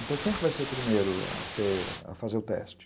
Então, quem vai ser o primeiro a ser, a fazer o teste?